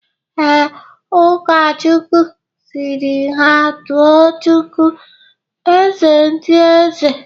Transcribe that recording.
Ee, Ụkọchukwu sịrị ha tuo chukwu "eze ndị eze"